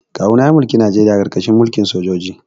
Kawuna ya mulki Najeriya a karkashin mulkin sojoji